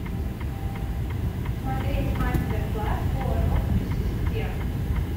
смотреть мастер класс по росписи стен